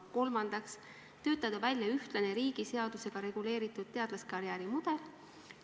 Kolmandaks, töötada välja ühtlane, riigi seadusega reguleeritud teadlaskarjääri mudel.